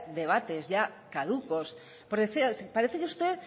debates ya caducos parece que usted